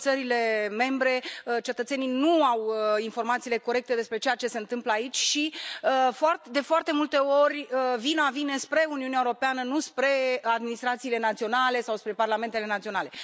În țările membre, cetățenii nu au informațiile corecte despre ceea ce se întâmplă aici și, de foarte multe ori, vina vine spre Uniunea Europeană, nu spre administrațiile naționale sau spre parlamentele naționale.